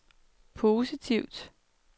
positivt